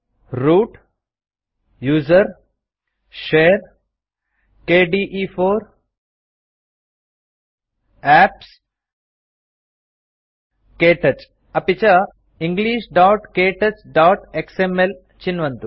root gtusr gtshare gtkde4 gtapps गत्क्तौच अपि च englishktouchएक्सएमएल चिन्वन्तु